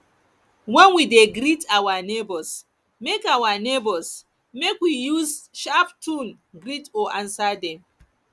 when we de greet our neighbours make our neighbours make we use sharp tune greet or answer dem